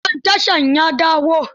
Manajan tashar ya dawo?